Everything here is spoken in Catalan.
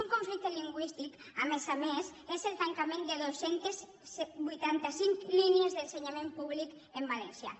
un conflicte lingüístic a més a més és el tancament de dos cents i vuitanta cinc línies d’ensenyament públic en valencià